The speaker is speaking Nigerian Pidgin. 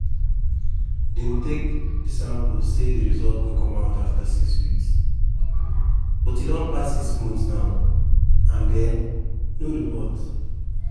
dem take di samples and say result go come afta six weeks but e don pass six months now and um no report.